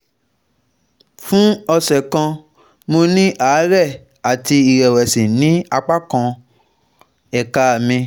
fún ọ̀sẹ̀ kan mo ní àárẹ̀ àti ìrẹ̀wẹ̀sì ní apá kan ẹ̀ka mi